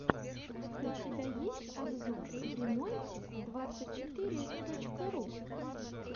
у тебя есть обзор времонте двадцать четыре точка ру